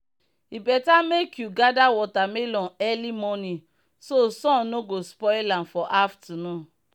e better make you gather watermelon early morning so sun no go spoil am for afternoon.